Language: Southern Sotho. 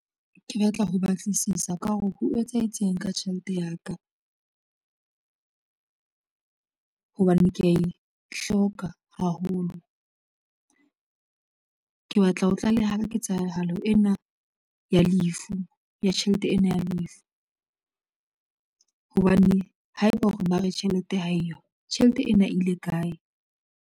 Ke batla ho batlisisa ka hore ho etsahetseng ka tjhelete ya ka, hobane kea e hloka haholo. Ke batla ho tlaleha ketsahalo ena ya tjhelete ena ya lefu, hobane haeba hore ba re tjhelete ha eyo, tjhelete ena e ile kae.